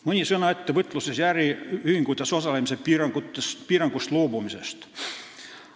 Mõni sõna ka ettevõtluses ja äriühingutes osalemise piirangust loobumisest.